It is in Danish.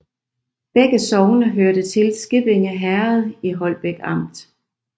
Begge sogne hørte til Skippinge Herred i Holbæk Amt